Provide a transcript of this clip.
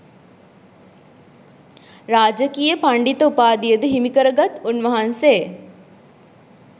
රාජකීය පණ්ඩිත උපාධියද හිමිකර ගත් උන්වහන්සේ